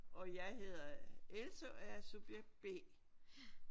Og jeg hedder Else og jeg er subjekt B